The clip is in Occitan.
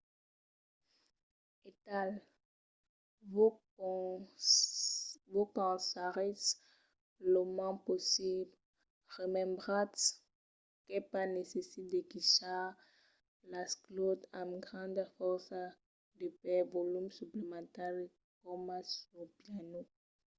aital vos cansaretz lo mens possible. remembratz qu’es pas necite de quichar las claus amb granda fòrça per de volum suplementari coma sul piano